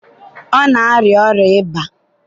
ọ na-arịa ọrịa ịba.